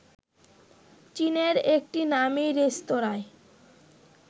চীনের একটি নামি রেস্তোরাঁয়